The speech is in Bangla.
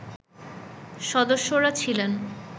সদস্যরা ছিলেন